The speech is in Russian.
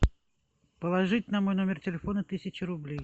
положить на мой номер телефона тысячу рублей